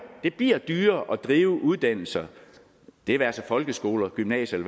det bliver dyrere at drive uddannelser det være sig folkeskoler gymnasier